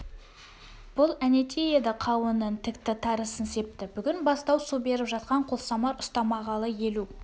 бұл әнетей еді қауынын тікті тарысын септі бүгін бастап су беріп жатқан қолсамар ұстамағалы елу